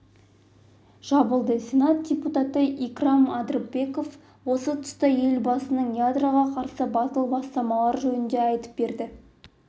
жабылды сенат депутаты икрам адырбеков осы тұста елбасының ядроға қарсы батыл бастамалары жөнінде айтып берді